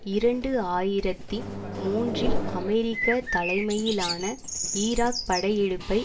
இரண்டு ஆயிரத்தி மூன்றில் அமெரிக்க தலைமையிலான ஈராக் படையெடுப்பை